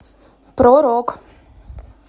про рок